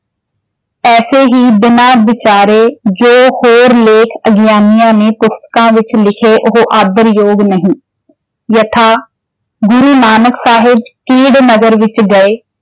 ਐਸੇ ਹੀ ਬਿਨਾਂ ਵਿਚਾਰੈ ਜੋ ਹੋਰ ਲੇਖ ਅਗਿਆਨਿਆਂ ਨੇ ਪੁਸਤਕਾਂ ਵਿੱਚ ਲਿਖੇ ਉਹੋ ਆਦਰਯੋਗ ਨਹੀਂ ਯਥਾ, ਗੁਰੂ ਨਾਨਕ ਸਾਹਿਬ ਕੀੜ ਨਗਰ ਵਿੱਚ ਗਏ।